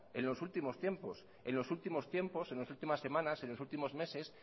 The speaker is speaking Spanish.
en los últimos tiempos en las últimas semanas en los últimos meses